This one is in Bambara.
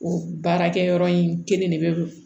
O baarakɛyɔrɔ in kelen de bɛ